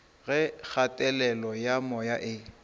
ge kgatelelo ya moya e